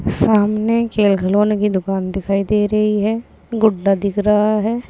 सामने खेल खिलौने की दुकान दिखाई दे रही है गुड्डा दिख रहा है।